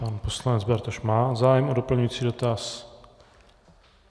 Pan poslanec Bartoš má zájem o doplňující dotaz.